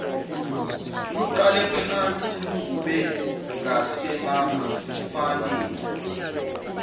luqalephansi lugobe ngasebafaneni